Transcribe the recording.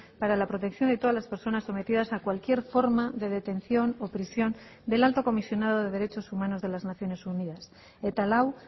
para la protección de todas las personas sometidas a cualquier forma de detención o prisión del alto comisionado de derechos humanos de las naciones unidas eta lau